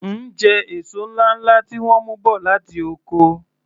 M jẹ èso ńláńlá tí wọ́n mú bọ̀ láti oko.